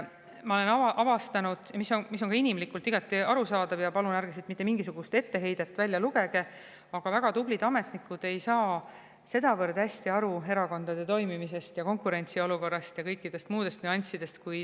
Ma olen avastanud – mis on ka inimlikult igati arusaadav, palun ärge siit mitte mingisugust etteheidet välja lugege –, väga tublid ametnikud ei saa päris hästi aru erakondade toimimisest, konkurentsiolukorrast ja kõikidest muudest nüanssidest.